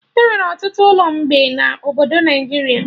Enwere ọtụtụ ụlọ mgbe na obodo Naijiria